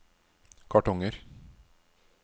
kartonger